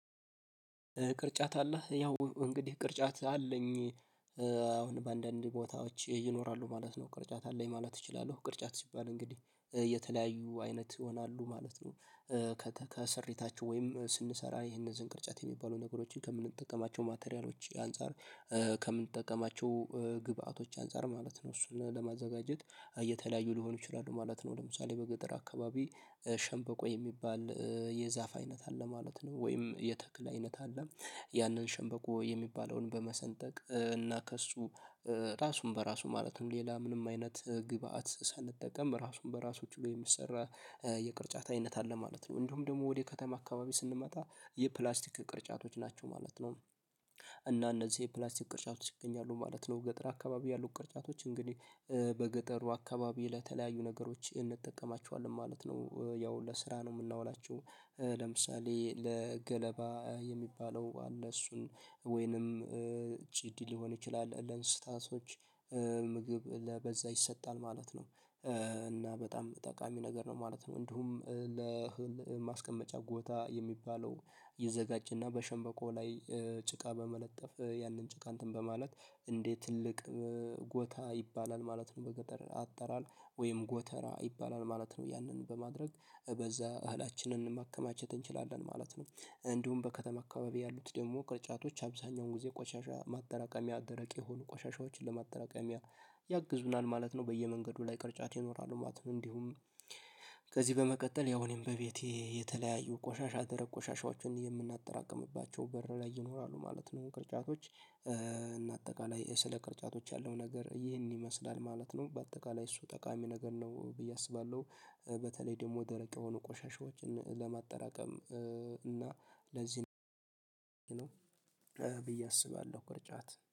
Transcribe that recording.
ቅርጫት አለህ ያው እንግዲህ ቅርጫት አለኝ። አሁን በአንዳንድ ቦታዎች ይኖራሉ ማለት ነው ቅርጫት አለኝ ማለት እችላለሁ። ቅርጫት ሲባል እንግዲህ የተለያዩ አይነት ይሆናሉ ማለት ነው። ከስሪታቸው ወይም ስንሰራ ይህን እነዚን ቅርጫት የሚባሉ ነገሮችን ከምንጠቀማቸው ማቴሪያሎች አንፃር። ከምንጠቀማቸው ግብአቶች አንፃር ማለት ነው እሱን ለማዘጋጀት የተለያዩ ሊሆኑ ይችላሉ ማለት ነው። ለምሳሌ በገጠር አካባቢ ሸንበቆ የሚባል የዛፍ አይነት አለ ማለት ነው። ወይም የተክል አይነት አለ። ያንን ሸንበቆ የሚባለውን በመሰንጠቅ እና ከእሱ ራሱን በራሱ ማለትም ሌላ ምንም አይነት ግብአት ሳንጠቀም ራሱን በራሱ ችሎ የሚሰራ የቅርጫት አይነት አለ ማለት ነው። እንዲሁም ደግሞ ወደ ከተማ አካባቢ ስንመጣ የፕላስቲክ ቅርጫቶች ናቸው ማለት ነው። እና እነዚህ የፕላስቲክ ቅርጫቶች ይገኛሉ ማለት ነው ገጠር አካባቢ ያሉት ቅርጫቶች እንግዲህ በገጠሩ አካባቢ ለተለያዩ ነገሮች እንጠቀማቸዋለን ማለት ነው። ያው ለስራ ነው ምናውላቸው። ለምሳሌ ለገለባ የሚባለው አለ እሱን ወይንም ጭድ ሊሆን ይችላል ለእንስሳቶች ምግብ ለበዛ ይሰጣል ማለት ነው። እና በጣም ጠቃሚ ነገር ነው ማለት ነው። እንዲሁም ለእህል ማስቀመጫ ጎታ የሚባለው ይዘጋጭ እና በሸንበቆ ላይ ጭቃ በመለጠፍ ያንን ጭቃ እንትን በማለት እንዴት ትልቅ ጎታ ይባላል ማለት ነው። በገጠር አጠራር ወይም ጎተራ ይባላል ማለት ነው። ያንን በማድረግ በዛ እህላችንን ማከማቸት እንችላለን ማለት ነው። እንዲሁም በከተማ አካባቢ ያሉት ደግሞ ቅርጫቶች አብዛኛውን ጊዜ ቆሻሻ ማደራቀሚያ አደረቅ የሆኑ ቆሻሻዎችን ለማደራቀሚያ ያግዙናል ማለት ነው። በየመንገዱ ላይ ቅርጫት ይኖራሉ ማለት ነው። እንዲሁም ከዚህ በመቀጠል ያው እኔም በቤቴ የተለያዩ ቆሻሻ ደረቅ ቆሻሻዎችን የምናጠራቅምባቸው በር ላይ ይኖራሉ ማለት ነው። ቅርጫቶች እና አጠቃላይ ስለ ቅርጫቶች ያለው ነገር ይሄን ይመስላል ማለት ነው። በአጠቃላይ እሱ ጠቃሚ ነገር ነው ብዬ አስባለሁ። በተለይ ደግሞ ደረቅ የሆኑ ቆሻሻዎችን ለማጠራቀም እና ለዚህ ብዬ አስባለሁ ቅርጫት